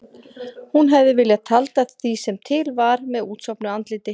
Hún hefði viljað tjalda því sem til var með útsofnu andliti.